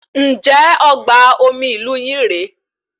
Njẹ ọgbà omi ìlú yín re?